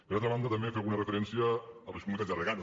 per altra banda també fem una referència a les comunitats de regants